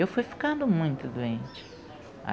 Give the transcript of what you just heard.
Eu fui ficando muito doente.